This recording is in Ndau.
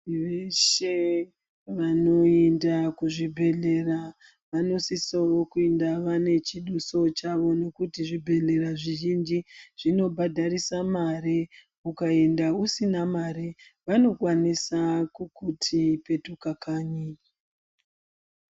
Veshe vanoenda kuzvibhehlera vanosisa kuenda vanechidusa chavo ngekuti zvibhehlera zvizhinji zvimkbhadharisa mare ukaenda usina mare vanokwanisa kuti petuka kanyi.